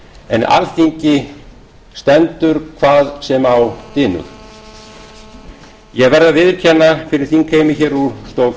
en alþingi stendur hvað sem á dynur ég verð að viðurkenna fyrir þingheimi úr stól